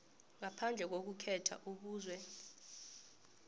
ngaphandle kokukhetha ubuzwe